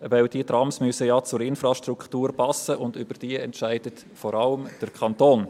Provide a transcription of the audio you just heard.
Denn sie müssen ja zur Infrastruktur passen, und über diese entscheidet vor allem der Kanton.